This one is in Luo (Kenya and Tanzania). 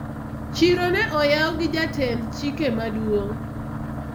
chiro ne oyaw gi jatend chike maduong'